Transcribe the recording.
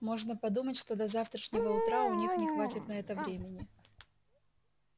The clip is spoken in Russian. можно подумать что до завтрашнего утра у них не хватит на это времени